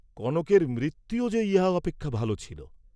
কনকের মৃত্যুও যে ইহা অপেক্ষা ভাল ছিল!